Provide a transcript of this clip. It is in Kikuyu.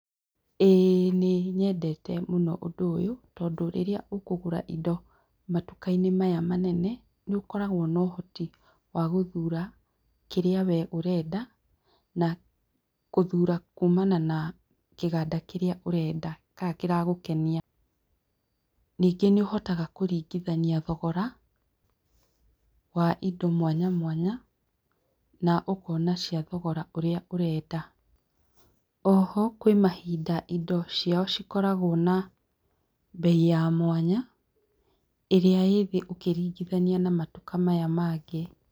Ĩĩ nĩnyendete mũno ũndũ ũyũ tondũ, rĩrĩa ũkũgũra indo matukainĩ maya manene, nĩũkoragwo na ũhoti wagũthura kĩrĩa we ũrenda, gũthura kumana na kĩganda kĩrĩa ũrenda kana kĩragũkenia. Nyingĩ nĩũhotaga kũringithania thogora wa indo mwanya mwanya, naũkona cia thogora ũrĩa ũrenda. Oho, kwĩmahinda indo ciao cikoragwo na mbei ya mwanya, ĩrĩa ĩthĩ ũkĩringithania na matuka maya mangĩ.